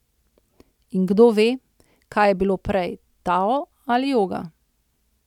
In kdo ve, kaj je bilo prej, tao ali joga.